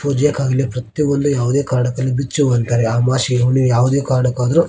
ಪೂಜೆ ಆಗಲಿ ಪ್ರತಿಯೊಂದು ಯಾವುದೇ ಕಾರಣಕ್ಕೂ ಆಗಲಿ ಬುಚ್ಚಿ ಹೂ ಅಂತಾರೆ ಅಮಾಸೆ ಹುಣ್ಣಿಮೆ ಯಾವುದೇ ಕಾರಣಕ್ಕಾದರೂ .